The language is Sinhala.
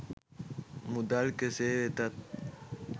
මුදල් කෙසේ වෙතත්